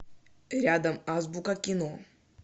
рядом азбука кино